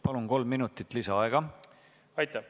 Palun, kolm minutit lisaaega!